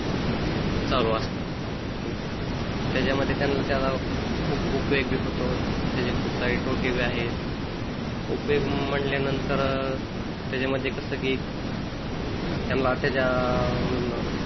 चालू असत त्याच्यामध्ये त्याचा खूप उपयोग बी होतो त्याचे खूप सारे तोटे बी आहे उपयोग म्हटल्यानंतर त्याच्यामध्ये कस की त्यांना त्याच्यामधन